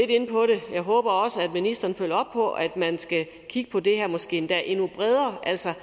jeg håber også at ministeren følger på at man skal kigge på det her måske endda endnu bredere altså